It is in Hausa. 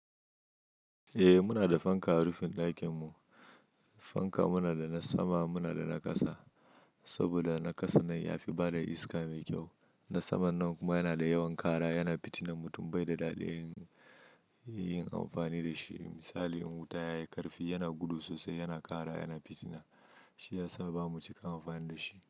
Eh muna da fanka a rufin ɗakin mu. Fanka muna da na sama, muna da na ƙasa. Saboda na ƙasa nan ya fi bada iska mai kyau. Na saman nan kuma yana da yawan kara, yana fitinar mutum bai da daɗi yin amfani da shi. Misali in wuta yayi ƙarfi yana gudu sosai, yana kara, yana fitina. Shi ya sa bamu cika amfani da shi.